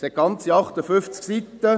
Es umfasst ganze 58 Seiten.